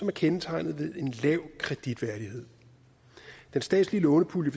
er kendetegnet ved en lav kreditværdighed den statslige lånepulje